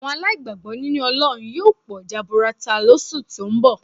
Àwọn aláìgbàgbọ́ nínú Ọlọ́run yóò pọ̀ jaburata lóṣù tó ń bọ̀